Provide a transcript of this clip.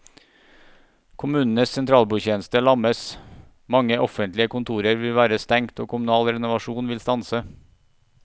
Kommunenes sentralbordtjeneste lammes, mange offentlige kontorer vil være stengt og kommunal renovasjon vil stanse.